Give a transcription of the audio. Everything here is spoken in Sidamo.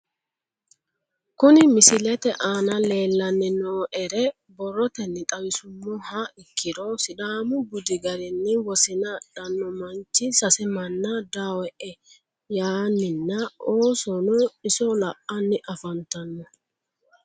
Kuni misilete aana leelanni nooere borotenni xawisumoha ikkiro sidaamu budi garinni wosinna adhano manchi sase mana dawoe yaaninna oosono iso la'anni afantano